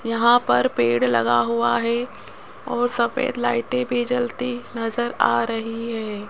यहां पर पेड़ लगा हुआ है और सफेद लाइटें भी जलती नजर आ रही है।